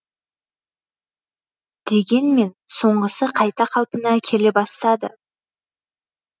дегенмен соңғысы қайта қалпына келе бастады